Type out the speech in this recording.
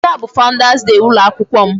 Taa bụ Founders day ụlọ akwụkwọ m.